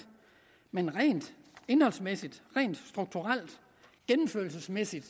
men rent indholdsmæssigt rent strukturelt gennemførelsesmæssigt